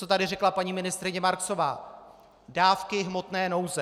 Co tady řekla paní ministryně Marksová, dávky hmotné nouze.